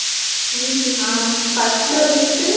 உம் ஹம் first வந்துட்டு